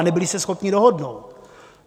A nebyli se schopni dohodnout.